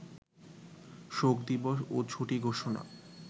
শোকদিবস ও ছুটি ঘোষণা